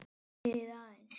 Bíðið aðeins.